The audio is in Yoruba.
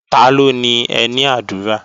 Taló ni ẹní àdúrà?